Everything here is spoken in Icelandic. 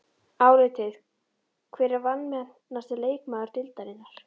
Álitið: Hver er vanmetnasti leikmaður deildarinnar?